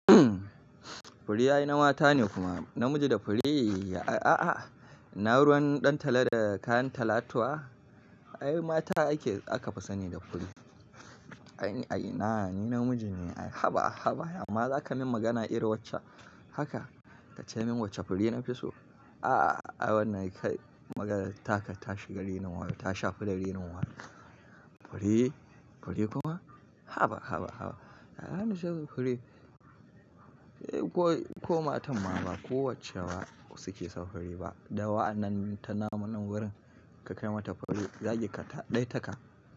Fure yayi na mata ne kuma namiji da fure? A a a. Na ruwan ɗan talo da kayan talatuwa? Ay mata ake, aka fi sani da fure. Ai ai na, ni namiji ne. Haba, haba, amma zaka min magana irin wacce haka, ka ce min wacce fure na fi so? A a a wannan kai maganar taka ta shiga rainin wayo, ta shafi da rinin wayo. Fure? Fure kuma? Haba, haba, haba. A'a nashi fure. Eh ko, ko matan ma ba kowacce ba suke son fure ba. Da wa annan ta namun wurin ka kai mata fure, zaki kata ɗai taka.